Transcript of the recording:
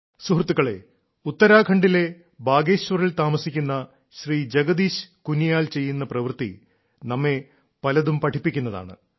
സുഹൃത്തുക്കളേ ഉത്തരാഖണ്ഡിലെ ബാഗേശ്വറിൽ താമസിക്കുന്ന ശ്രീ ജഗദീശ് കുനിയാൽ ചെയ്യുന്ന പ്രവൃത്തി നമ്മെ പലതും പഠിപ്പിക്കുന്നതാണ്